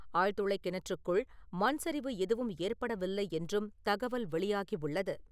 ஆழ்துளை கிணற்றுக்குள் மண் சரிவு எதுவும் ஏற்படவில்லை என்றும், தகவல் வெளியாகி உள்ளது.